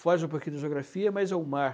Foge um pouquinho da geografia, mas é o mar.